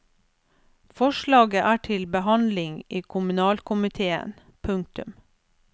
Forslaget er til behandling i kommunalkomitéen. punktum